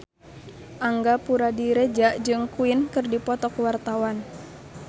Angga Puradiredja jeung Queen keur dipoto ku wartawan